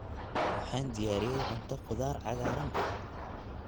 Waxaan diyaariyey cunto khudaar cagaaran ah.